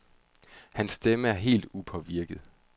Hans stemme er helt upåvirket.